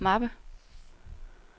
mappe